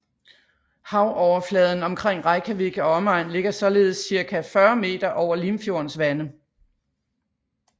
Havoverfladen omkring Reykjavik og omegn ligger således cirka 40 meter over Limfjordens vande